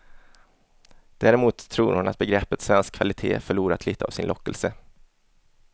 Däremot tror hon att begreppet svensk kvalitet förlorat lite av sin lockelse.